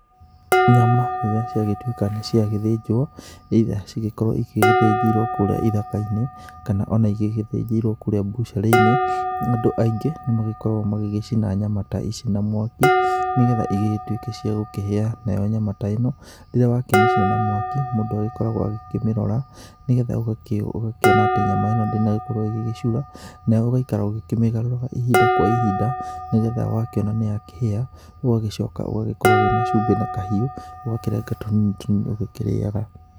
Nyama rĩrĩa ciagĩtuĩka nĩciagĩthinjwo, either cigĩgĩkorwo cithĩnjĩirwo kũrĩa ithaka-inĩ kana ona igĩgĩthĩnjĩirwo kũrĩa mbucirĩ-inĩ, andũ aingĩ nĩmagĩkoragwo magĩgĩcina nyama ta ici na mwaki nĩgetha igĩgĩtuke cia gũkĩhĩa nayo nyama ta ĩno rĩrĩa wakĩmĩcina na mwaki mũndũ agĩkoragwo agĩkĩmirora nĩgetha ũgakĩona atĩ nyama ĩno ndĩnagĩkorwo ĩgĩgĩcura na ũgaikaraga ũkĩmĩgarũraga ihinda kwa ihinda nĩgetha wakĩona nĩakĩhĩa ũgacoka ũgakorwo wĩna cumbĩ na kahiũ, ũgakĩrenga tũnini tũnini ũgĩkĩrĩaga.